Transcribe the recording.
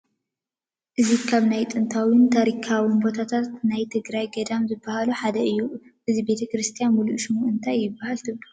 እዚ ካብ ናይ ጥንታውን ታሪካውን ቦታታት ናይ ትግራይ ገዳማት ዝባሃሉ ሓደ እዩ፡፡ እዚ ቤተ ክርስትያን ሙሉእ ሽሙ እንታይ ይባሃል ትብሉ?